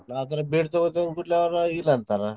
ಆ ಥರ ಬೇಡ್ ತೊಗೋಳೊ ಕೂಡ್ಲೆ ಇಲ್ಲ ಅಂತಾರೆ.